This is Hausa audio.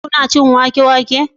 kuna cin wake wake?